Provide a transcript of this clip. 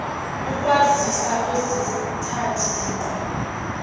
ukwazisa kwezithathi zinqumo